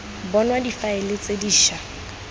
bonwa difaele tse di ša